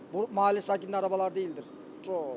Bu ma halə sakininin arabalar deyilidir.